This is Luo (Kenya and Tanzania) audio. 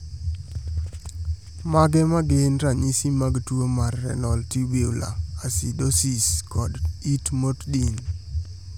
Mage magin ranyisi mag tuo mar Renal tubular acidosis kod it motdin?